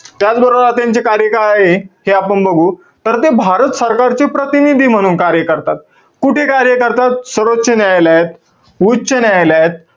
त्याचबरोबर आता यांचे कार्यकाळ हे. ते आपण बघू. तर ते भारत सरकारचे प्रतीनिधी म्हणून कार्य करतात. कुठे कार्य करतात? सर्वोच्च न्यायालयात, उच्च न्यायालयात.